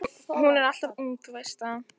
Hún er alltof ung, þú veist það.